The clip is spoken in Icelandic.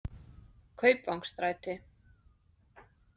Kaupvangsstræti